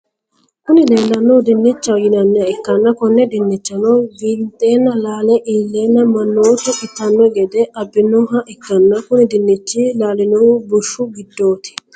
Kuni lelanohu dinichao yinaniha ikana koone dinichano wintena lalle ilena manotu itaano gede abinoniha ikana kuni dinchino lalnohu bushu gidoti.